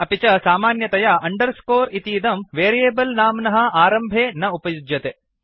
अपि च सामान्यतया अंडरस्कोर इतीदं वेरियेबल् नाम्नः आरम्भे न उपयुज्यते